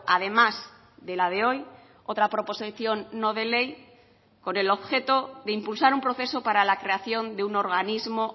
además de la de hoy otra proposición no de ley con el objeto de impulsar un proceso para la creación de un organismo